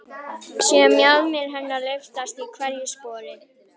Sé mjaðmir hennar lyftast í hverju spori.